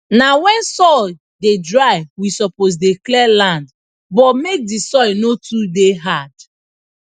na when soil dey dry we suppose dey clear land but make the soil no too dey hard